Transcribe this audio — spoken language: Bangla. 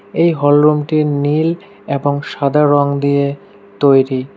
এই হলরুমটি নীল এবং সাদা রঙ দিয়ে তৈরি।